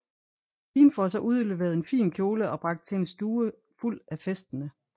Pigen får så udleveret en fin kjole og bragt til en stue fuld af festende